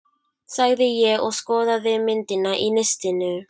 sagði ég og skoðaði myndina í nistinu.